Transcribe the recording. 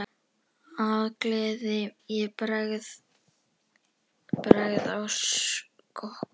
Af gleði ég bregð á skokk.